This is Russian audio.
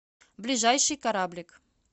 ближайший кораблик